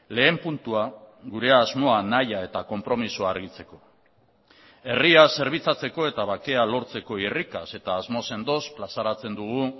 lehen puntua gure asmoa nahia eta konpromisoa argitzeko herria zerbitzatzeko eta bakea lortzeko irrikaz eta asmo sendoz plazaratzen dugu